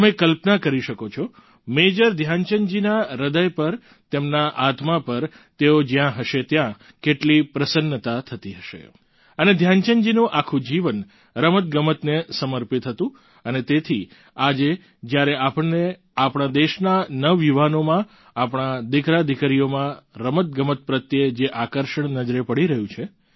તમે કલ્પના કરી શકો છો મેજર ધ્યાનચંદજીના હ્રદય પર તેમના આત્મા પર તેઓ જ્યાં હશે ત્યાં કેટલી પ્રસન્નતા થતી હશે અને ધ્યાનચંદજીનું આખું જીવન રમતગમતને સમર્પિત હતું અને તેથી આજે જ્યારે આપણને આપણા દેશના નવયુવાનોમાં આપણા દિકરાદિકરીઓમાં રમતગમત પ્રત્યે જે આકર્ષણ નજરે પડી રહ્યું છે